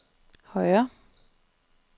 højre